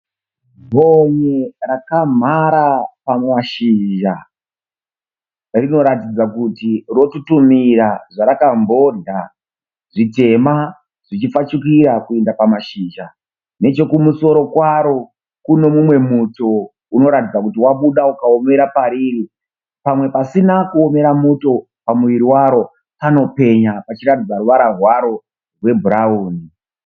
Gonye rakamhara pamashizha. Rinoratidza kuti rotutumira zvarakambodya, zvitema zvichipfachukira kuenda pamashizha. Nechekumusoro kwaro kune umwe muto unotaridza kuti wabuda umaomera pariri. Pamwe pasina kuomera muto pamuviri waro panopenya pachiratidza ruvara rwaro rwebhurawuni.